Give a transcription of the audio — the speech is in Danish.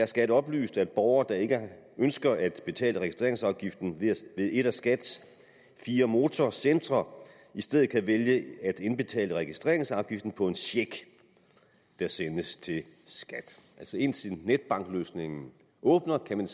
skat oplyst at borgere der ikke ønsker at betale registreringsafgiften ved et af skats fire motorcentre i stedet kan vælge at indbetale registreringsafgiften på en check der sendes til skat altså indtil netbankløsningen åbner kan man